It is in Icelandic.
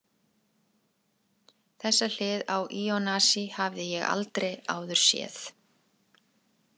Þessa hlið á Ionasi hafði ég aldrei áður séð.